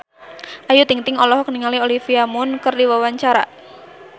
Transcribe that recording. Ayu Ting-ting olohok ningali Olivia Munn keur diwawancara